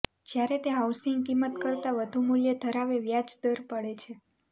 જ્યારે તે હાઉસિંગ કિંમત કરતાં વધુ મૂલ્ય ધરાવે વ્યાજ દર પડે છે